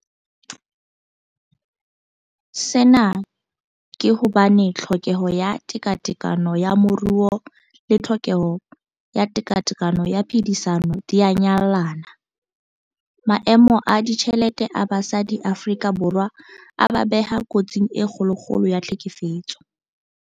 Sena ke hobane tlhokeho ya tekatekano ya moruo le tlhokeho ya tekatekano ya phedisano di a nyallana. Maemo a ditjhelete a basadi Afrika Borwa a ba beha kotsing e kgolokgolo ya tlhekefetso.